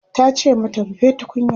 tace mata "rufe tukunyar!"